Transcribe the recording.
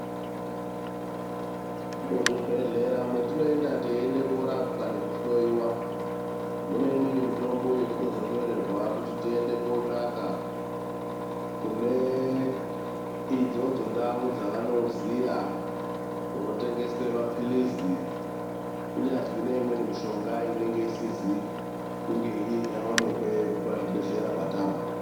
Muzvibhedhlera mwetinoenda teienda korapwa nekuhloiwa, mune imweni mitombo yetinozonyorerwa kuti tiende kotsvaka kune idzodzo ndau dzevanoziya kunotengeswa mapilizi, kunyazwi neimweni mishonga inenge isizi kunge yaonekwa pazvibhedhlera kwatabva.